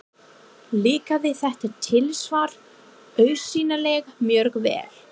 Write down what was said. Líkaði þetta tilsvar augsýnilega mjög vel.